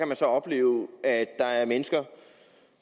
man så opleve at der er mennesker